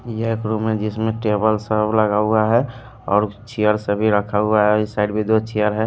यह एक रूम है जिसमें टेबल सब लगा हुआ है और चेयर सभी रखा हुआ है इस साइड भी दो चेयर है।